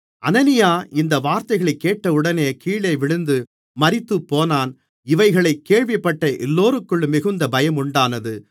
அனனியா இந்த வார்த்தைகளைக் கேட்டவுடனே கீழே விழுந்து மரித்துப்போனான் இவைகளைக் கேள்விப்பட்ட எல்லோருக்கும் மிகுந்த பயமுண்டானது